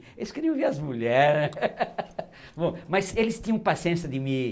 Eles queriam ver as mulher né, bom, mas eles tinham paciência de me